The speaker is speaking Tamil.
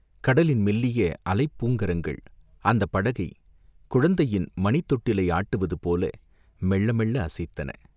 கடலின் மெல்லிய அலைப் பூங்கரங்கள் அந்தப் படகைக் குழந்தையின் மணித் தொட்டிலை ஆட்டுவது போல மெள்ள மெள்ள அசைத்தன.